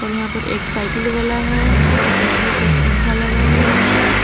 यहां पर एक साइकिल वाला है यहां पे बिजली का खंभा लगा हुआ है।